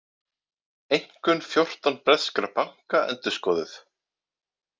Einkunn fjórtán breskra banka endurskoðuð